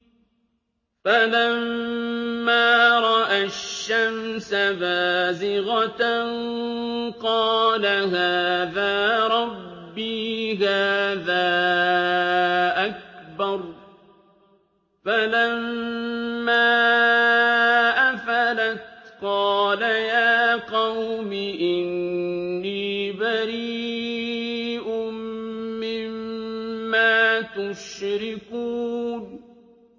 فَلَمَّا رَأَى الشَّمْسَ بَازِغَةً قَالَ هَٰذَا رَبِّي هَٰذَا أَكْبَرُ ۖ فَلَمَّا أَفَلَتْ قَالَ يَا قَوْمِ إِنِّي بَرِيءٌ مِّمَّا تُشْرِكُونَ